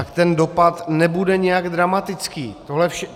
- tak ten dopad nebude nijak dramatický.